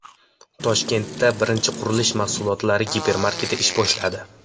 Toshkentda birinchi qurilish mahsulotlari gipermarketi ish boshladi.